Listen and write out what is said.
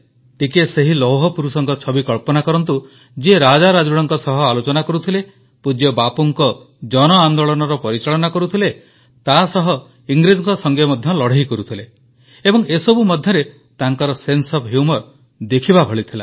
ଟିକିଏ ସେହି ଲୌହପୁରୁଷଙ୍କ ଛବି କଳ୍ପନା କରନ୍ତୁ ଯିଏ ରାଜାରାଜୁଡ଼ାଙ୍କ ସହ ଆଲୋଚନା କରୁଥିଲେ ପୂଜ୍ୟ ବାପୁଙ୍କ ଜନଆନେ୍ଦାଳନର ପରିଚାଳନା କରୁଥିଲେ ତାସହ ଇଂରେଜଙ୍କ ସଂଗେ ମଧ୍ୟ ଲଢ଼େଇ କରୁଥିଲେ ଏବଂ ଏସବୁ ମଧ୍ୟରେ ତାଙ୍କର ସେନ୍ସେ ଓଏଫ୍ ହ୍ୟୁମର ଦେଖିବା ଭଳି ଥିଲା